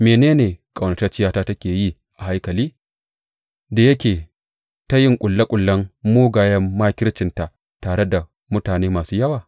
Mene ne ƙaunatacciyata take yi a haikali da yake ta yin ƙulle ƙullen mugayen makircinta tare da mutane masu yawa?